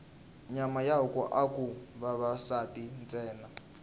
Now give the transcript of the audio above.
nyama ya huku aku dya vavasati ntsena